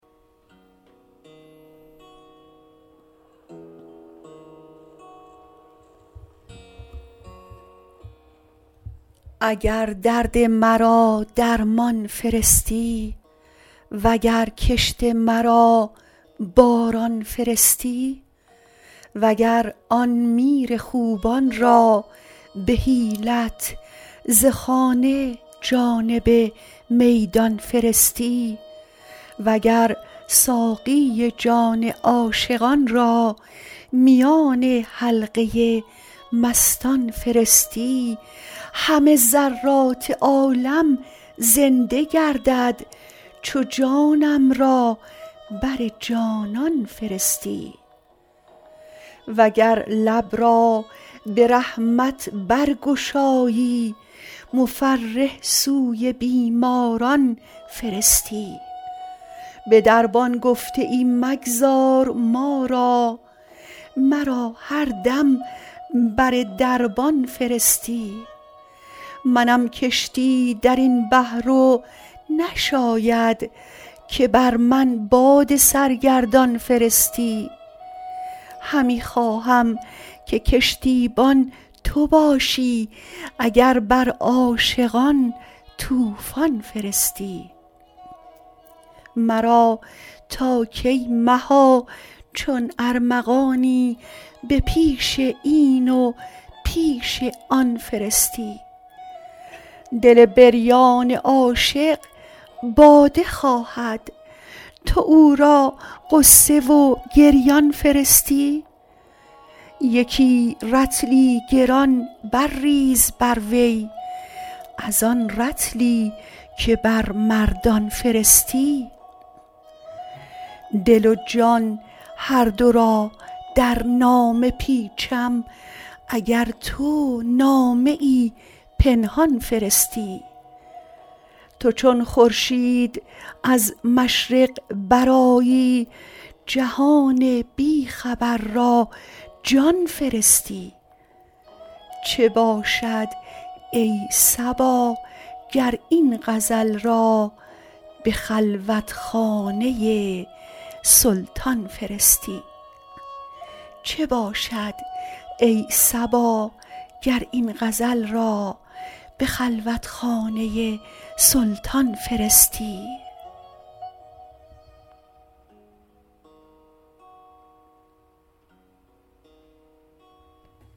اگر درد مرا درمان فرستی وگر کشت مرا باران فرستی وگر آن میر خوبان را به حیلت ز خانه جانب میدان فرستی وگر ساقی جان عاشقان را میان حلقه مستان فرستی همه ذرات عالم زنده گردد چو جانم را بر جانان فرستی وگر لب را به رحمت برگشایی مفرح سوی بیماران فرستی به دربان گفته ای مگذار ما را مرا هر دم بر دربان فرستی منم کشتی در این بحر و نشاید که بر من باد سرگردان فرستی همی خواهم که کشتیبان تو باشی اگر بر عاشقان طوفان فرستی مرا تا کی مها چون ارمغانی به پیش این و پیش آن فرستی دل بریان عاشق باده خواهد تو او را غصه و گریان فرستی یکی رطلی گران برریز بر وی از آن رطلی که بر مردان فرستی دل و جان هر دو را در نامه پیچم اگر تو نامه پنهان فرستی تو چون خورشید از مشرق برآیی جهان بی خبر را جان فرستی چه باشد ای صبا گر این غزل را به خلوتخانه سلطان فرستی